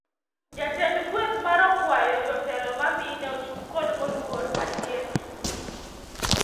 Jatend kweth mar okwayo jotelo ma mine ochung kod moluor Atieno